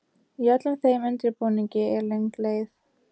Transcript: Í öllum þeim undirbúningi er löng leið.